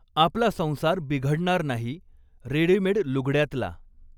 आपला संसार बिघडणार नाही, रेडिमेड लुगड्यातला.